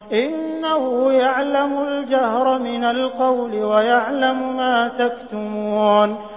إِنَّهُ يَعْلَمُ الْجَهْرَ مِنَ الْقَوْلِ وَيَعْلَمُ مَا تَكْتُمُونَ